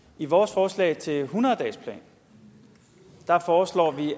i vores forslag til en hundrede dagesplan foreslår vi